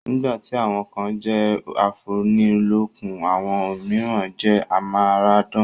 Nígbà tí àwọn kan jẹ́ afúnilọ́kun, àwọn òmíràn jẹ́ amáradán